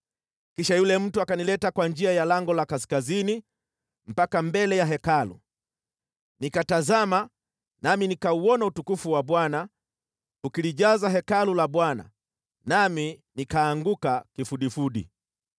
Kisha yule mtu akanileta kwa njia ya lango la kaskazini mpaka mbele ya Hekalu. Nikatazama nami nikauona utukufu wa Bwana ukilijaza Hekalu la Bwana , nami nikaanguka kifudifudi.